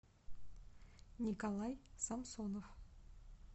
николай самсонов